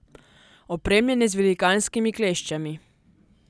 Opremljen je z velikanskimi kleščami.